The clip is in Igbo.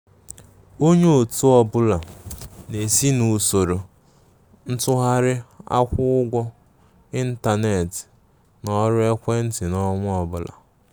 Onye ọtụ ọbụla na-esi n'usoro ntụgharị akwụ-ụgwọ intánẹ̀tị na ọrụ ekwéntị n'ọnwa ọbụla.